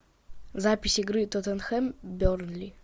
запись игры тоттенхэм бернли